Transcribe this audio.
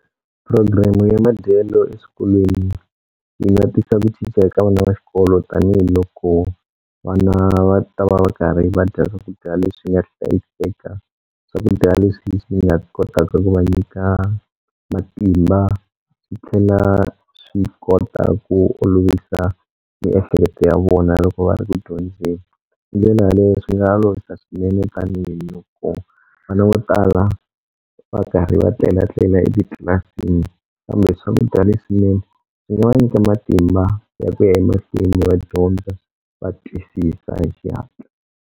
Program-u ya madyelo eswikolweni yi nga tisa ku cinca ka vana va xikolo tanihiloko vana va ta va va karhi va dya swakudya leswi nga hlayiseka. Swakudya leswi swi nga kotaka ku va nyika matimba swi tlhela swi kota ku olovisa miehleketo ya vona loko va ri ku dyondzeni. Hi ndlela yaleyo swi nga olovisa swinene tanihiloko vana vo tala va karhi va tlelatlela etitlilasini kambe swakudya leswinene swi nga va nyika matimba ya ku ya emahlweni va dyondza va twisisa hi xihatla.